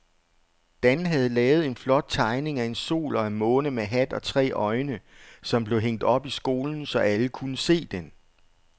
Dan havde lavet en flot tegning af en sol og en måne med hat og tre øjne, som blev hængt op i skolen, så alle kunne se den.